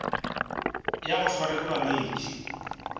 ya go swarwa ke bolwetši